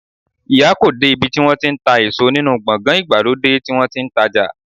Iya ko you de ibi ti won ti n ta eso ninu gbogan igbalode ti won ti n taja